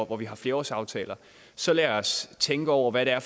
hvor vi har flerårsaftaler så lad os tænke over hvad det er